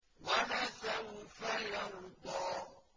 وَلَسَوْفَ يَرْضَىٰ